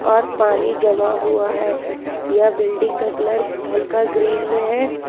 और पानी जमा हुआ है यह बिल्डिंग का कलर हल्का ग्रीन में है।